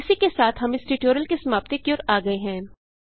इसी के साथ हम इस ट्यूटोरियल की समाप्ति की ओर आ गये हैं